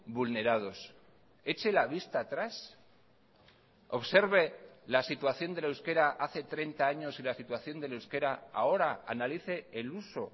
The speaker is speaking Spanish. vulnerados eche la vista atrás observe la situación del euskera hace treinta años y la situación del euskera ahora analice el uso